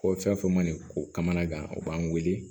Ko fɛn o fɛn ma nin ko kamanagan u b'an weele